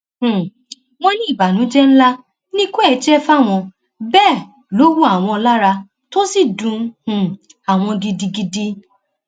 um wọn ní ìbànújẹ ńlá ni ikú ẹ jẹ fáwọn bẹẹ lọ wọ àwọn lára tó sì dun um àwọn gidigidi